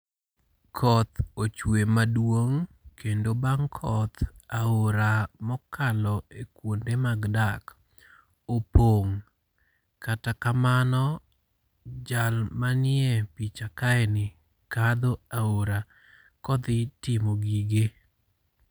Koth ochwe maduong kendo bang' koth aora mokalo e kuonde mag dak opong'. Kata kamano, jal manie picha kaeni kadho aora kodhi timo gige.